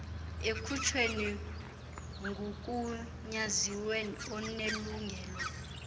ekhutshwe ngugunyaziwe onelungelo